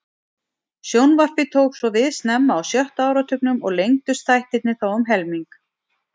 Sjónvarpið tók svo við snemma á sjötta áratugnum og lengdust þættirnir þá um helming.